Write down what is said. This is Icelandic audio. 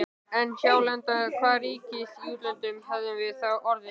En hjálenda hvaða ríkis í útlöndum hefðum við þá orðið?!